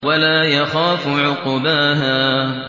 وَلَا يَخَافُ عُقْبَاهَا